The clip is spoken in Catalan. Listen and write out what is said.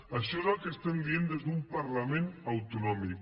això és el que estem dient des d’un parlament autonòmic